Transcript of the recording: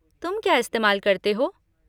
तुम क्या इस्तेमाल करते हो?